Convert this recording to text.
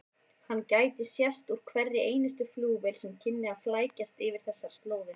Hann gæti sést úr hverri einustu flugvél sem kynni að flækjast yfir þessar slóðir.